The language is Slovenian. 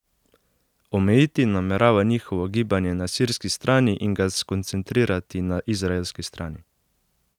Omejiti namerava njihovo gibanje na sirski strani in ga skoncentrirati na izraelski strani.